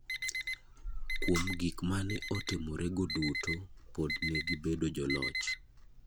Kuom gik mane otimore go duto, pod ne gibedo jo loch.